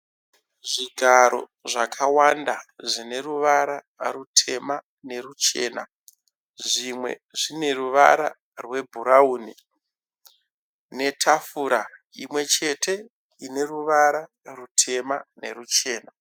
Zvigaro zvakawanda zvine ruvara rutema neruchema. Zvimwe zvine ruvara rwebhurawuni netafura imwe chete ine ruvara rutema neruchena.